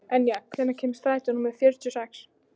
Enja, hvenær kemur strætó númer fjörutíu og sex?